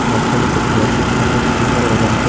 Motorcycle দেখতে পাচ্ছি সামনে অনেক মোটরসাইকেল লেখা আছে ।